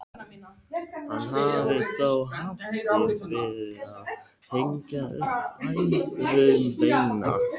Hann hafði þó haft fyrir því að hengja upp æðruleysisbænina.